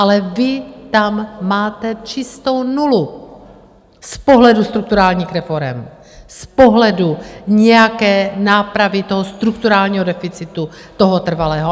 Ale vy tam máte čistou nulu z pohledu strukturálních reforem, z pohledu nějaké nápravy toho strukturálního deficitu, toho trvalého.